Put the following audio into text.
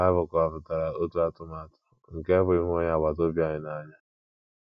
Bible kọwapụtara otu atụmatụ atụmatụ, nke bụ́, ịhụ onye agbata obi anyị n’anya.